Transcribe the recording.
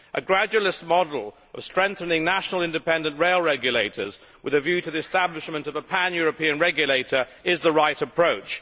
A gradualist model of strengthening national independent rail regulators, with a view to the establishment of a pan European regulator, is the right approach.